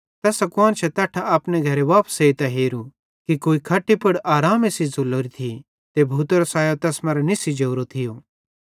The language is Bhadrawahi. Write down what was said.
तैसां कुआन्शां तैट्ठां अपने घरे वापस एइतां हेरू कि कुई खट्टी पुड़ आरामे सेइं झ़ुल्लोरी थी त भूतेरो सायो तैस मरां निस्सी जोरो थियो